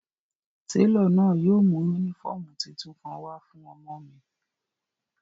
Telo náa yóò mu unifọmú titun kan wa fun ọmọ mi.